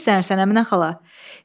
Niyə hirslənirsən, Əminə xala?